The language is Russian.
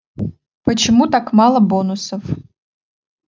почему так мало бонусов